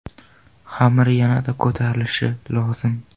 Xamir yanada ko‘tarilishi lozim.